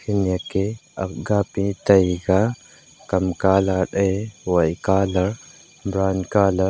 eneke aga pi taiga kam colour e wai colour bran colour .